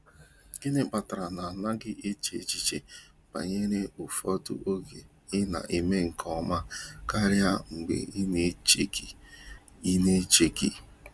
Gini kpatara na-agaghị eche echiche banyere ufodu oge i na eme nke ọma karia mgbe i na echeghi? i na echeghi?